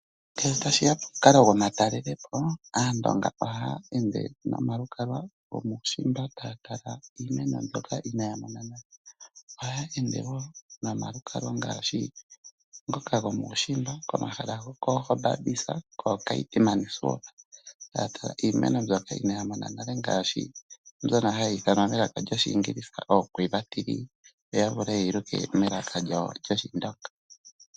Ngele tashi ya komukale gwomatalalela po, aandonga ohaya ende nomalukalwa gomuushimba taya tala iimeno mbyoka inaya mona nale. Ohaya ende wo nomalukalwa ngaashi ngoka gomuushimba, komahala gokooGobabisa kooKeetmanshop, taa tala iimeno mbyoka inaya mona nale ngaashi mbyono hayi ithanwa melaka lyoShiingilisa ooQuiva tree yo ya vule ye yi luke melaka lyawo lyOshindonga.